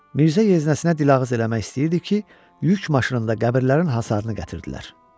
Mirzə yeznəsinə dil ağız eləmək istəyirdi ki, yük maşınında qəbirlərin hasarını gətirdilər.